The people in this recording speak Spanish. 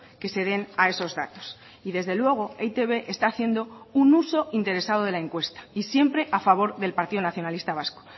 que se den a esos datos y desde luego e i te be está haciendo un uso interesado de la encuesta y siempre a favor del partido nacionalista vasco